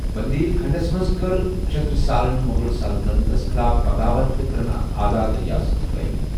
بندیل کھنڈَس منٛز کٔر چھترسالَن مُغل سلطنتَس خِلاف بغاوت تہٕ کٔرٕنۍ اکھ آزاد رِیاسَت قٲیِم۔